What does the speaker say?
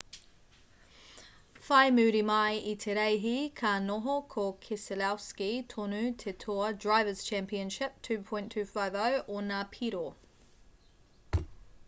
whai muri mai i te reihi ka noho ko keselowski tonu te toa drivers' championship 2.250 ōna piro